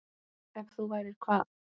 Ef þú værir hvað?